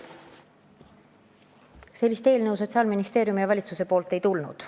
Niisugust eelnõu Sotsiaalministeeriumist ega valitsusest ei tulnud.